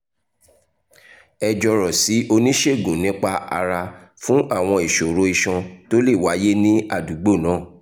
ẹ jọ̀rọ̀ sí oníṣègùn nípa ara fún àwọn ìṣòro iṣan tó lè wáyé ní àdúgbò náà